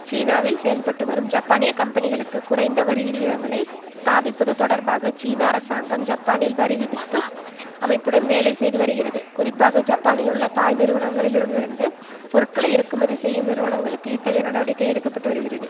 சீனாவில் செயல்பட்டுவரும் ஜப்பானிய கம்பெனிகளுக்கு குறைந்த வரி விகிதங்களை ஸ்தாபிப்பது தொடர்பாக சீன அரசாங்கம் ஜப்பானின் வரிவிதிப்பு அமைப்புடன் வேலைசெய்து வருகிறது குறிப்பாக ஜப்பானிலுள்ள தாய் நிறுவனங்களிலமிருந்து பொருட்களை இறக்குமதி செய்யும் நிறுவனங்களுக்கு இத்தகைய நடவடிக்கை எடுக்க பட்டு வருகிறது